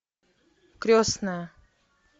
крестная